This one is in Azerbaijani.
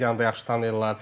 Medianı da yaxşı tanıyırlar.